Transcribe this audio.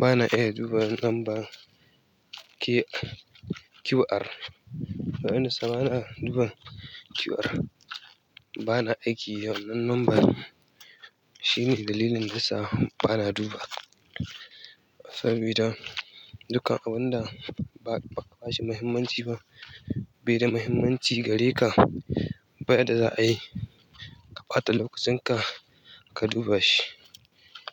Ba na iya duba lambar QR. Na yi nasar ba na duba QR. Ba na aiki da wannan lambar. Shine dalilin da sa ba na duba. Sabida dukan abunda ba kaba shi muhimmanci ba, bai da muhimmanci gareka, ba ya da za a yi ka ɓata lokacin ka, ka duba shi.